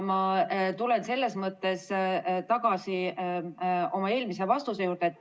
Ma tulen selles mõttes tagasi oma eelmise vastuse juurde.